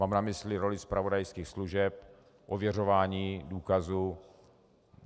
Mám na mysli roli zpravodajských služeb, ověřování důkazů.